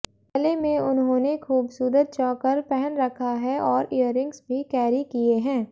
गले में उन्होंने खूबसूरत चौकर पहन रखा है और ईयररिंग्स भी कैरी किए है